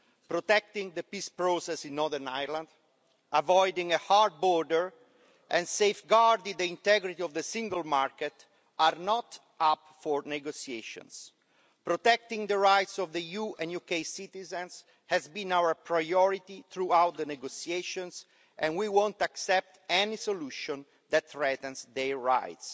Protecting the peace process in Northern Ireland, avoiding a hard border and safeguarding the integrity of the single market are not up for negotiations. Protecting the rights of EU and UK citizens has been our priority throughout the negotiations and we won't accept any solution that threatens their rights.